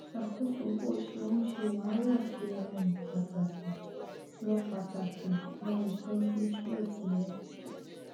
ṣàkóso bó ṣe ń ṣe wàhálà ṣe um pàtàkì lọ pàtàkì lọ ìtọjú trọ tìrẹ